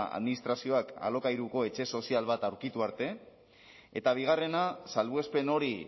administrazioak alokairuko etxe sozial bat aurkitu arte eta bigarrena salbuespen hori